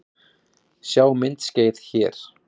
Sjá myndskeið hér